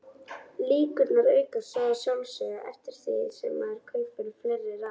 Líkurnar aukast svo að sjálfsögðu eftir því sem maður kaupir fleiri raðir.